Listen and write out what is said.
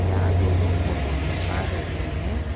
यह दोनों फोटो खींचा रहे हैं।